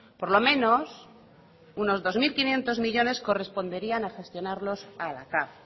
por lo menos unos dos mil quinientos millónes corresponderían a gestionarlos a la cav